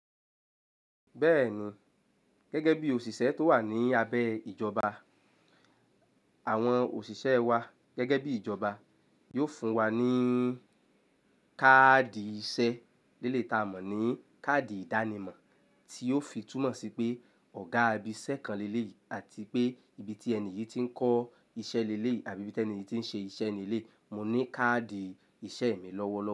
Bẹ́ẹ̀ni, gẹ́gẹ́ bí òṣìṣẹ́ tó wà ní abẹ́ ìjọba, àwọn òṣìṣẹ́ wa gẹ́gẹ́ bí ìjọba yóò fún wa ní káàdì iṣẹ́ eleyii ta mọ̀ ní káàdì ìdánimọ̀ tí yóò fi túmọ̀ sí pé Ọ̀gá ibẹ iṣẹ́ kan léle yìí àti pé ibi tí ẹni yìí ti ń kọ́ iṣẹ́ léle yìí àbí ibi tí ẹni yìí ti ń ṣe iṣẹ́ ní eleyii, mo ní káàdì iṣẹ́ mi lọ́wọ́ lọ.